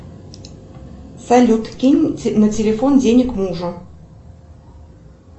салют кинь на телефон денег мужу